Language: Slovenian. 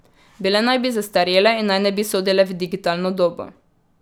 Bile naj bi zastarele in naj ne bi sodile v digitalno dobo.